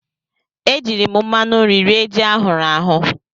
E jiiri m mmanụ nri rie ji ahụrụ ahụ.